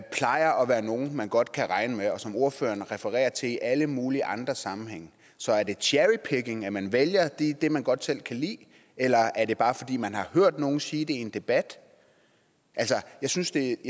være nogle man godt kan regne med og som ordføreren refererer til i alle mulige andre sammenhænge så er det cherry picking at man vælger det man godt selv kan lide eller er det bare fordi man har hørt nogen sige det i en debat jeg synes det